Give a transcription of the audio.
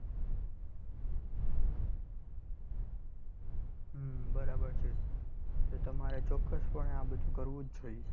હમ બરાબર છે તો તમારે ચોક્કસ પણે આ બધું કરવું જ જોઈએ.